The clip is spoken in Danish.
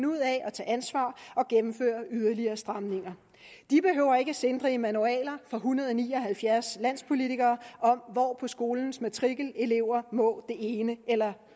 ud af at tage ansvar og gennemføre yderligere stramninger de behøver ikke sindrige manualer fra en hundrede og ni og halvfjerds landspolitikere om hvor på skolens matrikel elever må det ene eller